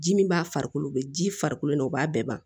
Ji min b'a farikolo la o bɛ ji farikolo la u b'a bɛɛ ban